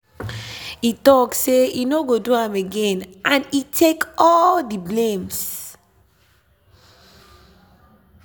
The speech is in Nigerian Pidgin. e talk say he no go do am again and e take all the blames.